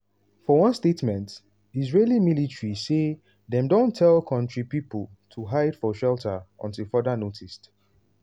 for one statement israeli military say dem don tell kontri pipo to hide for shelter until further noticed.